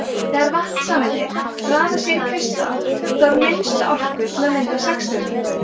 þegar vatnssameindir raða sér í kristall þarf minnsta orku til að mynda sexstrending